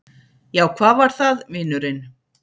Já, hvað var það, vinurinn?